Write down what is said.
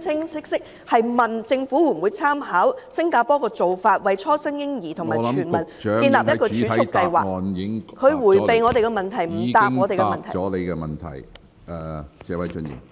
清晰，詢問政府會否考慮參考新加坡當局的做法，為初生嬰兒設立全民儲蓄計劃，局長迴避我們的問題，沒有回答我們的問題......